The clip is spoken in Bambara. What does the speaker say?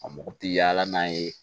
A mako tɛ yaala n'a ye